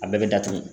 A bɛɛ bɛ datugu